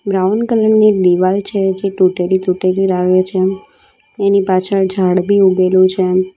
Brown colour ની દિવાલ છે જે તૂટેલી-તૂટેલી લાગે છે એની પાછળ ઝાડ બી ઉગેલું છે.